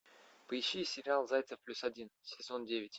поищи сериал зайцев плюс один сезон девять